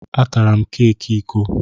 A tara m keeki ke iko?